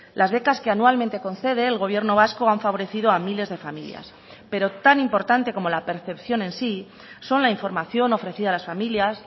las becas que anualmente concede el gobierno vasco han favorecido a miles de familias pero tan importante como la percepción en sí son la información ofrecida a las familias